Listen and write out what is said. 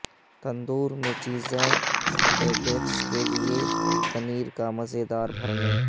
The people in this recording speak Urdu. تندور میں چیزیں بیکیکس کے لئے پنیر کا مزیدار بھرنے